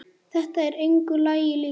Þetta er engu lagi líkt.